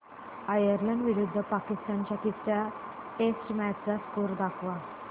Ireland विरुद्ध पाकिस्तान च्या तिसर्या टेस्ट मॅच चा स्कोअर दाखवा